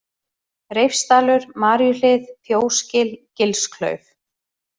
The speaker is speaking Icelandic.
Reifsdalur, Maríuhlið, Fjósgil, Gilsklauf